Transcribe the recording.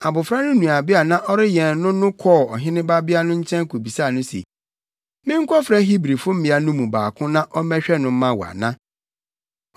Abofra no nuabea a na ɔrewɛn no no kɔɔ ɔhene babea no nkyɛn kobisaa no se, “Menkɔfrɛ Hebrifo mmea no baako na ɔmmɛhwɛ no mma wo ana?”